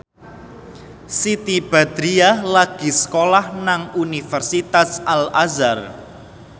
Siti Badriah lagi sekolah nang Universitas Al Azhar